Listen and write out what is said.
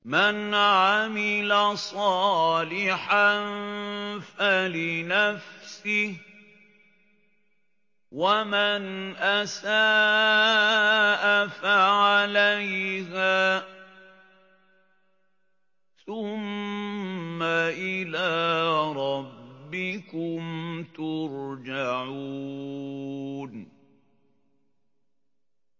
مَنْ عَمِلَ صَالِحًا فَلِنَفْسِهِ ۖ وَمَنْ أَسَاءَ فَعَلَيْهَا ۖ ثُمَّ إِلَىٰ رَبِّكُمْ تُرْجَعُونَ